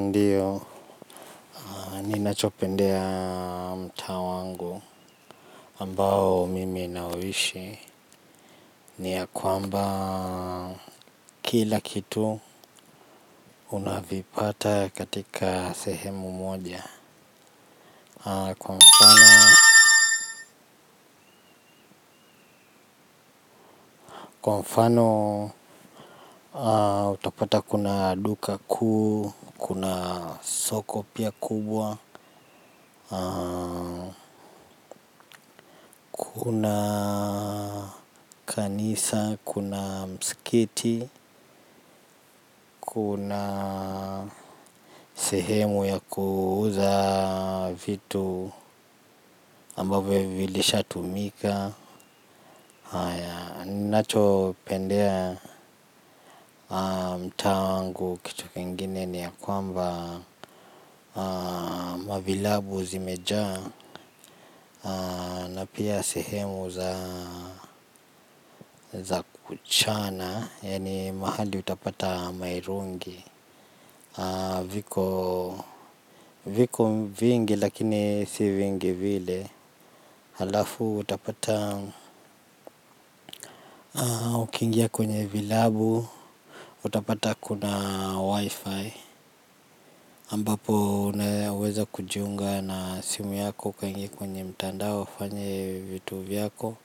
Ndiyo, ni nachopendea mta wangu ambao mimi nawishi ni ya kwamba kila kitu unavipata katika sehemu moja kwa mfano. Kwa mfano utapata kuna duka kuu, kuna soko pia kubwa, kunakanisa, kuna mskiti. Kuna sehemu ya kuuza vitu ambavyo vilisha tumika. Nacho pendea mta wangu kitu kingine ni ya kwamba mavilabu zimejaa na pia sehemu za kuchana. Yaani mahali utapata mairungi. Viko vingi lakini si vingi vile. Halafu utapata ukiingia kwenye vilabu utapata kuna wi-fi ambapo unaweza kujiunga na simu yako kwenye kwenye mtandao ufanye vitu vyako.